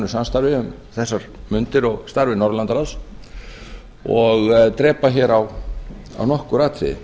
samstarfi um þessar mundir og starfi norðurlandaráðs og drepa hér á nokkur atriði